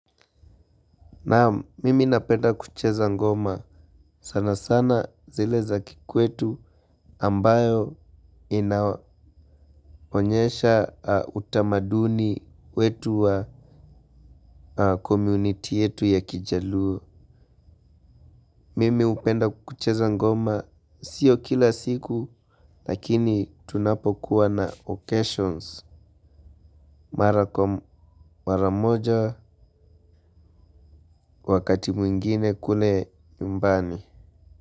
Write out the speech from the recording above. Nam mimi napenda kucheza ngoma. Sana sana zile za kikwetu ambayo inaonyesha utamaduni wetu wa komuniti yetu ya kijaluo. Mimi hupenda kucheza ngoma sio kila siku lakini tunapokuwa na occasions mara kwa maramoja wakati mwingine kule nyumbani.